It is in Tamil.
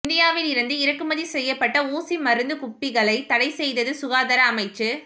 இந்தியாவில் இருந்து இறக்குமதி செய்யப்பட்ட ஊசி மருந்துக் குப்பிகளை தடைசெய்தது சுகாதார அமைச்சு